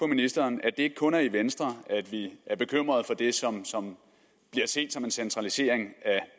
ministeren at det ikke kun er i venstre at vi er bekymret for det som som bliver set som en centralisering af